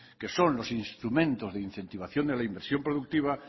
que son los instrumentos de incentivación de la inversión productiva